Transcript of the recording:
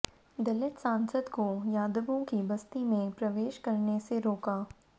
दलित सांसद को यादवों की बस्ती में प्रवेश करने से रोका